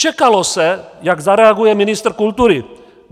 Čekalo se, jak zareaguje ministr kultury.